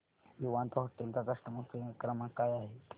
Vivanta hotel चा customer care क्रमांक काय आहे